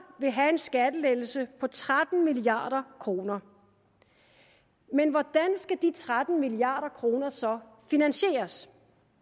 vil have en skattelettelse på tretten milliard kroner men hvordan skal de tretten milliard kroner så finansieres